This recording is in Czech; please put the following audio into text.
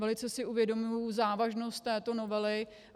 Velice si uvědomuji závažnost této novely.